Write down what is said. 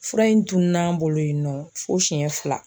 Fura in tuun'an bolo yen nɔ fo siyɛn fila.